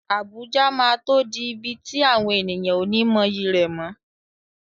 Abuja máa tó di ibi tí àwọn ènìyàn ó ní mọyì rẹ̀ mọ́.